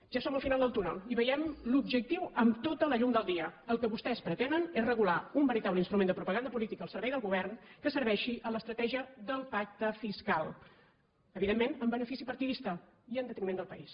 ja som al final del túnel i veiem l’objectiu amb tota la llum del dia el que vostès pretenen és regular un veritable instrument de propaganda política al servei del govern que serveixi a l’estratègia del pacte fiscal evidentment amb benefici partidista i en detriment del país